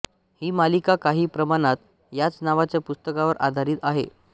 ही मालिका काही प्रमाणात ह्याच नावाच्या पुस्तकावर आधारीत आहे